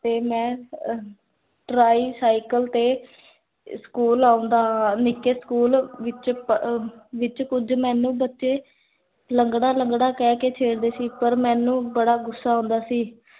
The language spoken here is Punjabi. ਤੇ ਮੈਂ ਅਹ tricycle ਤੇ, ਸਕੂਲ ਆਓਂਦਾ ਹਾਂ ਨਿੱਕੇ ਸਕੂਲ ਵਿਚ, ਕੁਝ ਮੇਨੂ ਬਚੇ, ਲੰਗੜਾ ਲੰਗੜਾ ਕਹ ਕੇ ਛੇੜਦੇ ਸੀ ਪਰ ਮੇਨੂ ਬੜਾ ਗੁੱਸਾ ਆਓਂਦਾ ਸੀ